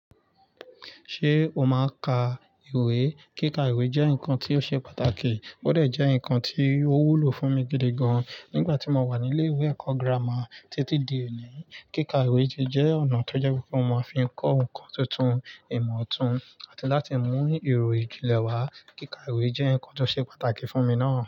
Ṣé o máa ka ìwé? Kíka ìwé jẹ́ nǹkan tí ó ṣe pàtàkì, ó dẹ̀ jẹ́ nǹkan tí ó wúlò fún mi gidi gan-an nígbà tí mo wà ní ilé-ìwé ẹ̀kọ́ gírámà títí di òní. Kíka ìwé jẹ́ ọ̀nà tó jẹ́ pé mo máa fi kọ́ nǹkan tuntun, ìmọ̀ tuntun àti láti mú ìròyìn julẹ̀ wá. Kíka ìwé jẹ́ nǹkan tó ṣe pàtàkì fún mi náà.